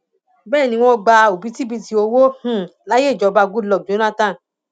bẹẹ ni wọn gba òbítíbitì owó um láyè ìjọba goodluck jonathan